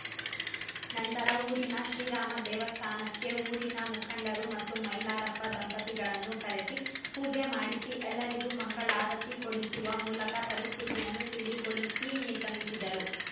ನಂತರ ಊರಿನ ಶ್ರೀರಾಮ ದೇವಸ್ಥಾನಕ್ಕೆ ಊರಿನ ಮುಖಂಡರು ಮತ್ತು ಮೈಲಾರಪ್ಪ ದಂಪತಿಗಳನ್ನು ಕರೆಸಿ ಪೂಜೆ ಮಾಡಿಸಿ ಎಲ್ಲರಿಗೂ ಮಂಗಳಾರತಿ ಕೊಡಿಸುವ ಮೂಲಕ ಪರಿಸ್ಥಿತಿಯನ್ನು ತಿಳಿಗೊಳಿಸಿ ನಿರ್ಗಮಿಸಿದರು